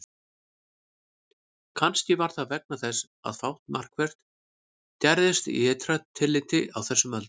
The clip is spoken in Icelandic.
Kannski var það vegna þess að fátt markvert gerðist í ytra tilliti á þessum öldum.